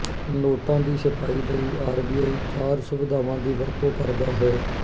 ਨੋਟਾਂ ਦੀ ਛਪਾਈ ਲਈ ਆਰਬੀਆਈ ਚਾਰ ਸੁਵਿਧਾਵਾਂ ਦੀ ਵਰਤੋਂ ਕਰਦਾ ਹੈ